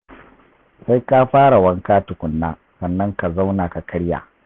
Sai ka fara wanka tukunna sannan ka zauna ka karya.